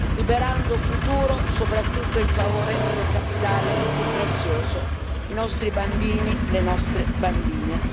liberando futuro soprattutto in favore del capitale più prezioso i nostri bambini e le nostre bambine.